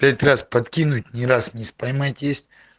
пять раз подкинуть ни разу не поймать есть